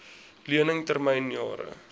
lening termyn jare